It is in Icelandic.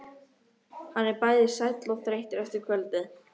Hann er bæði sæll og þreyttur eftir kvöldið.